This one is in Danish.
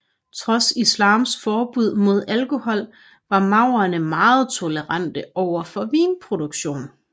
Trods islams forbud mod alkohol var maurerne meget tolerante over for vinproduktion